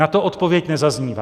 Na to odpověď nezaznívá.